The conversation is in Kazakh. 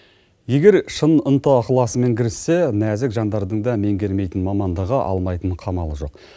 егер шын ынта ықаласымен кіріссе нәзік жандардың да менгермейтін мамандығы алмайтын қамалы жоқ